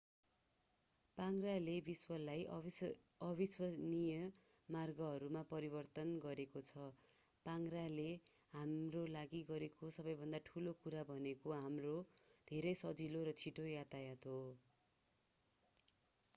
पाङ्ग्राले विश्वलाई अविश्वसनीय मार्गहरूमा परिवर्तन गरेको छ पाङ्ग्राले हाम्रोलागि गरेको सबैभन्दा ठूलो कुरा भनेको हाम्रो धेरै सजिलो र छिटो यातायात हो